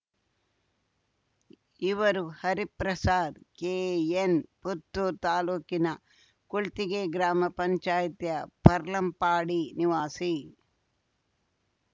ಇವರು ಹರಿಪ್ರಸಾದ್‌ ಕೆಎನ್‌ ಪುತ್ತೂ ತಾಲೂಕಿನ ಕೊಳ್ತಿಗೆ ಗ್ರಾಮ ಪಂಚಾಯ್ತಿಯ ಪೆರ್ಲಂಪಾಡಿ ನಿವಾಸಿ